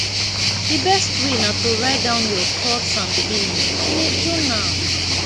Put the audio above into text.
di best way na to write down your thoughts and feelings in a journal